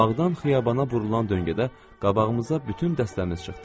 Amma bağdan xiyabana burulan döngədə qabağımıza bütün dəstəmiz çıxdı.